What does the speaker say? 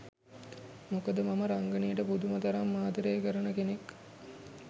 මොකද මම රංගනයට පුදුම තරම් ආදරේ කරන කෙනෙක්.